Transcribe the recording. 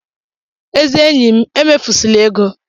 Ezi enyi m, emefusịla ego!